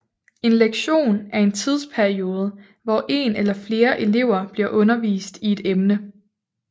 En lektion er en tidsperiode hvor en eller flere elever bliver undervist i et emne